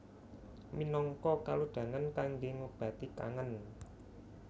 Minangka kalodhangan kangge ngobati kangen